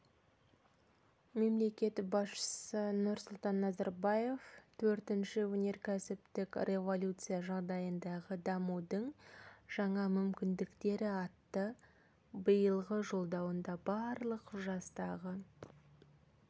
мемлекет басшысы нұрсұлтан назарбаев төртінші өнеркәсіптік революция жағдайындағы дамудың жаңа мүмкіндіктері атты биылғы жолдауында барлық жастағы